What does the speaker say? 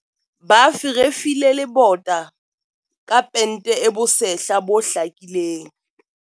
Ba ferefile lebota ka pente e bosehla bo hlakileng.